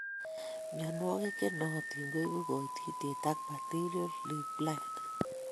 Mienwokik che nootin koibu koititiet ak bacterial leaf blight